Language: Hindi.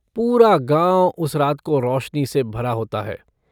पूरा गाँव उस रात को रोशनी से भरा होता है।